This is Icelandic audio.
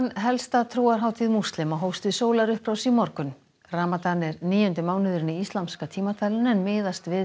helsta trúarhátíð múslima hófst við sólarupprás í morgun ramadan er níundi mánuðurinn í íslamska tímatalinu en miðast við